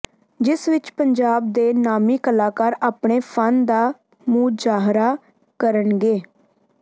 ਜਿਸ ਵਿਚ ਪੰਜਾਬ ਦੇ ਨਾਮੀ ਕਲਾਕਾਰ ਆਪਣੇ ਫਨ ਦਾ ਮੁਜ਼ਾਹਰਾ ਕਰਨਗੇ